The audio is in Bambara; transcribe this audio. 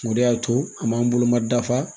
O de y'a to an m'an bolo ma dafa